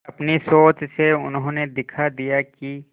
अपनी सोच से उन्होंने दिखा दिया कि